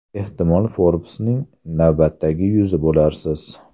Ehtimol Forbes’ning navbatdagi yuzi bo‘larsiz.